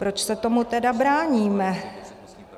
Proč se tomu tedy bráníme?